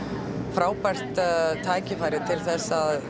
frábært tækifæri til að